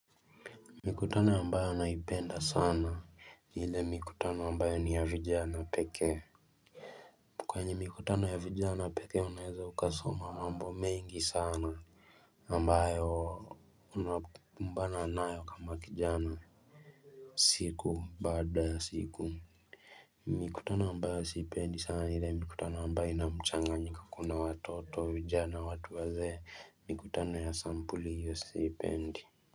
Mikutano ambayo naipenda sana hile mikutana ambayo ni ya vijana peke kwenye mikutano ya vijana peke unaeze ukasoma mambo mengi sana ambayo unakumbana nayo kama kijana siku baada siku mikutano ambayo siipendi sana ile mikutano ambayo inamchanganyiko kuna watoto vijana watu wazee mikutano ya sampuli hiyo siipendi.